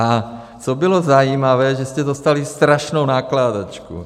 A co bylo zajímavé, že jste dostali strašnou nakládačku.